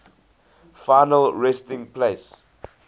final resting place